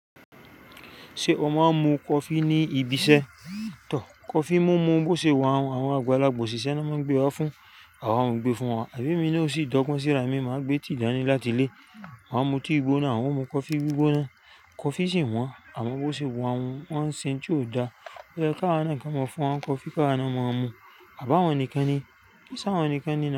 Ṣé o máa ń mu coffee ní ibi iṣẹ́? Tọ́ coffee mú mú bó ṣe wa un, àwọn àgbàlagbà òṣìṣẹ́ nọ́n máa ń gbé wá fún, àwa won n gbé fún wa. Àbí èmi náà ò sì dọ́gbọ́n síra mi, màá gbé tiì dáni láti ilẹ́. Máa mu tí i gbóná, awọ́n mú coffee gbígbóná, coffee sì wọ́n. Àmọ́ bó ṣe wa un, wọ́n ń ṣe n ti ó dáa. Ó yẹ ká wa náà kí on máa fún wa n coffee káwa náà máa mu. À báwọn nìkan ni, kií sáwọn nìkan ni na.